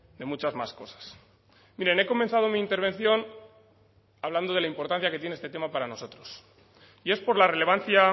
de muchas más cosas miren he comenzado mi intervención hablando de la importancia que tiene este tema para nosotros y es por la relevancia